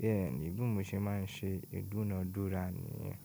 Bẹ́ẹ̀ni, bí mo ṣe ma n ṣe ìdúnadúrà nìyẹn.